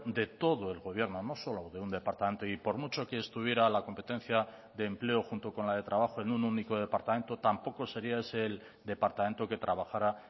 de todo el gobierno no solo de un departamento y por mucho que estuviera la competencia de empleo junto con la de trabajo en un único departamento tampoco sería ese el departamento que trabajara